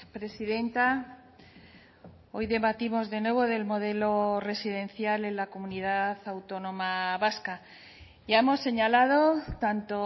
presidenta hoy debatimos de nuevo del modelo residencial en la comunidad autónoma vasca ya hemos señalado tanto